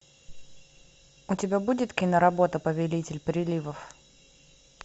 у тебя будет киноработа повелитель приливов